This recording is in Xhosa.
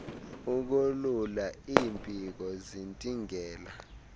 ukolula iimpiko zintingela